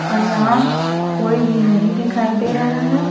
और यहां कोई भी नहीं दिखाई दे रहा है।